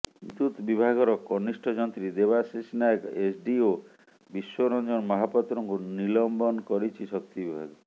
ବିଦ୍ୟୁତ ବିଭାଗର କନିଷ୍ଠ ଯନ୍ତ୍ରୀ ଦେବାଶିଷ ନାୟକ ଏସ୍ଡ଼ିଓ ବିଶ୍ୱରଞ୍ଜନ ମହାପାତ୍ରଙ୍କୁ ନିଲମ୍ବନ କରିଛି ଶକ୍ତି ବିଭାଗ